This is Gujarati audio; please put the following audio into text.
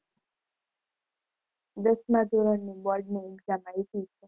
દસમા ધોરણની બોર્ડની exam આયપી.